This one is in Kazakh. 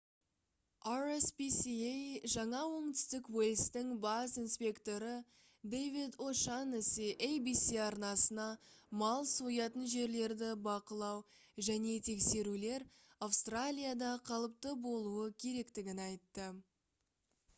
rspca жаңа оңтүстік уэльстің бас инспекторы дэвид о'шаннесси abc арнасына мал соятын жерлерді бақылау және тексерулер австралияда қалыпты болуы керектігін айтты